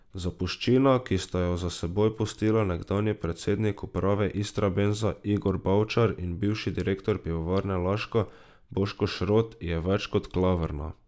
Zapuščina, ki sta jo za seboj pustila nekdanji predsednik uprave Istrabenza Igor Bavčar in bivši direktor Pivovarne Laško Boško Šrot, je več kot klavrna.